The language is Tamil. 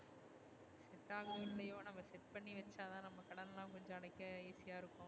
set ஆகுமோ, இல்லையோ? நம்ம set பண்ணிவச்சதா நம்ம கடன் லா கொஞ்சம் அடைக்க easy ஆ இருக்கும்.